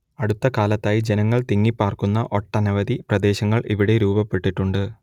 അടുത്തകാലത്തായി ജനങ്ങൾ തിങ്ങിപ്പാർക്കുന്ന ഒട്ടനവധി പ്രദേശങ്ങൾ ഇവിടെ രൂപപ്പെട്ടിട്ടുണ്ട്